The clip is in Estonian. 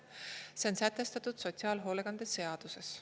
See on sätestatud sotsiaalhoolekande seaduses.